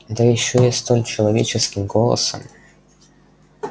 да ещё и столь человеческим голосом